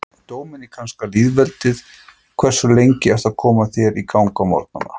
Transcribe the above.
Dóminíska lýðveldið Hversu lengi ertu að koma þér í gang á morgnanna?